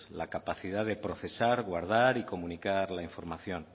la capacidad de procesar guardar y comunicar la información